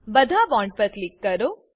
બધા બોન્ડ્સ પર ક્લિક કરો